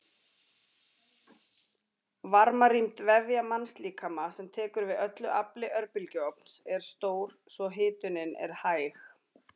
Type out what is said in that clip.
Varmarýmd vefja mannslíkama sem tekur við öllu afli örbylgjuofns er stór svo hitunin er hæg.